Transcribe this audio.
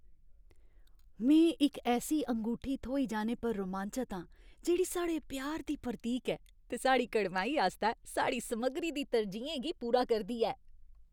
में इक ऐसी अंगूठी थ्होई जाने पर रोमांचत आं जेह्ड़ी साढ़े प्यार दी प्रतीक ऐ ते साढ़ी कड़माई आस्तै साढ़ी समग्गरी दी तरजीहें गी पूरा करदी ऐ।